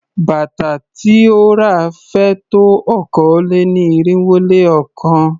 Bàtà tí ó ra féé tó okòó-lé-ní-irínwó-lé-ọ̀kan.